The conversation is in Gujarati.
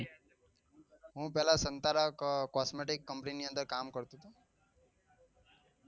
હું પેલા સંતારક cosmetic company ની અંદર કામ કરતો હતો.